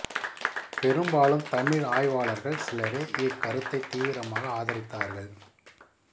பெரும்பாலும் தமிழ் ஆய்வாளர்கள் சிலரே இக் கருத்தைத் தீவிரமாக ஆதரித்தார்கள்